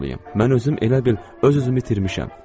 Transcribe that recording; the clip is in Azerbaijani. Mən özüm elə bil öz-özümü itirmişəm.